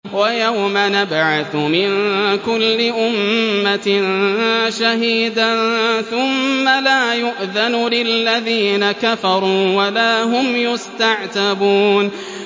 وَيَوْمَ نَبْعَثُ مِن كُلِّ أُمَّةٍ شَهِيدًا ثُمَّ لَا يُؤْذَنُ لِلَّذِينَ كَفَرُوا وَلَا هُمْ يُسْتَعْتَبُونَ